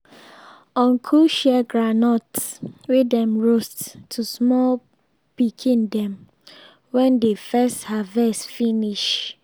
uncle share groundnuts wey dem roast to small pikn dem wen de first harvest finish